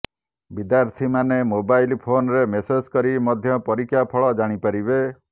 ବିଦ୍ୟାର୍ଥୀମାନେ ମୋବାଇଲ ଫୋନରେ ମେସେଜ କରି ମଧ୍ୟ ପରୀକ୍ଷାଫଳ ଜାଣିପାରିବେ